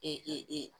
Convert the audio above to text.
E e